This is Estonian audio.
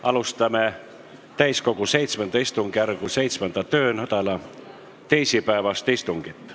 Alustame täiskogu VII istungjärgu 7. töönädala teisipäevast istungit.